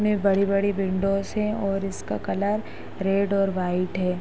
में बड़ी बड़ी विंडोज है और इसका कलर रेड और वाइट है।